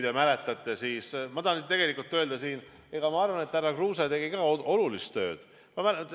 Ma tahan öelda, ma arvan, et härra Kruuse tegi ka olulist tööd.